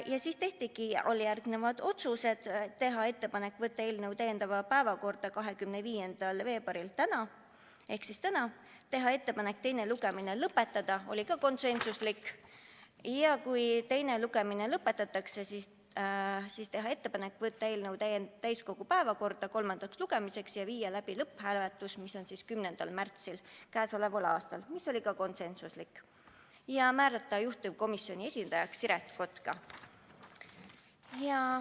Ja siis tehti alljärgnevad otsused: teha ettepanek võtta eelnõu täiskogu päevakorda 25. veebruariks ehk tänaseks, teha ettepanek teine lugemine lõpetada ja kui teine lugemine lõpetatakse, siis teha ettepanek võtta eelnõu täiskogu päevakorda kolmandaks lugemiseks ja viia läbi lõpphääletus 10. märtsil k.a , ja määrata juhtivkomisjoni esindajaks Siret Kotka.